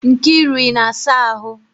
Nkiru, ị na-asa ahụ?